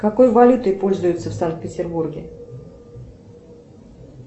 какой валютой пользуются в санкт петербурге